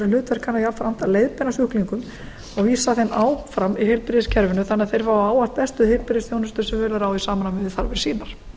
hlutverk hennar jafnframt að leiðbeina sjúklingum og vísa þeim áfram í heilbrigðiskerfinu þannig að þeir fái ávallt bestu heilbrigðisþjónustu sem völ er á í samræmi við þarfir sínar